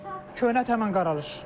Köhnə ət həmin qaralar.